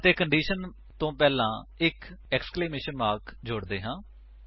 ਅਤੇ ਕੰਡੀਸ਼ਨ ਵਲੋਂ ਪਹਿਲਾਂ ਇੱਕ ਏਕਸਕਲੇਮੇਸ਼ਨ ਮਾਰਕ ਜੋੜਦੇ ਹਾਂ